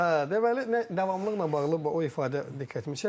Hə, deməli, davamlılıqla bağlı o ifadə diqqətimi çəkdi.